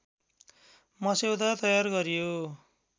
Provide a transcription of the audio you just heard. मस्यौदा तयार गरियो